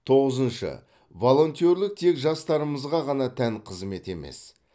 тоғызыншы волонтерлік тек жастарымызға ғана тән қызмет емес